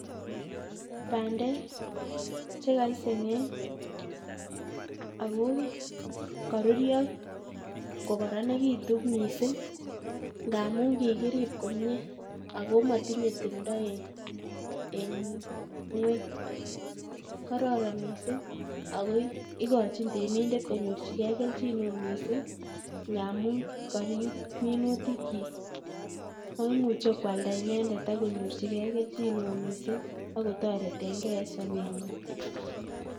Bandek chekoisengeng ako koruryoo ko koronekitun missing, ngamun kikirib komie ako motinye timdoo en ngwony kororon missing. Ako ikochin reminder konyorchigei kelchin neo missing, ngamun koriib minuutikchik ak imuche koaldaa inendet, ako nyorchigei kelchin neo missing ako toretengei en sobenyiin